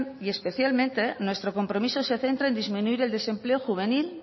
y especialmente nuestro compromiso se centra en disminuir el desempleo juvenil